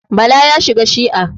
Bala ya shiga shi'a.